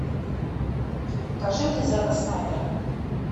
покажи мне зака снайдера